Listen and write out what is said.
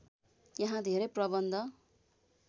यहाँ धेरै प्रबन्ध